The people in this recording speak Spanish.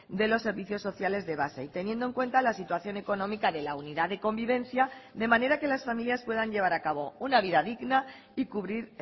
de los servicios sociales de base y teniendo en cuenta la situación económica de la unidad de convivencia de manera que las familias puedan llevar a cabo una vida digna y cubrir